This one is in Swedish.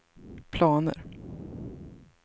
planer